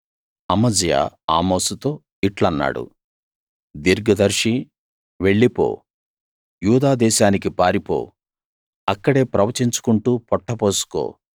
అమజ్యా ఆమోసుతో ఇట్లన్నాడు దీర్ఘదర్శీ వెళ్ళిపో యూదా దేశానికి పారిపో అక్కడే ప్రవచించుకుంటూ పొట్ట పోసుకో